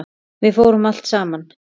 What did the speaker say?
Við fórum allt saman.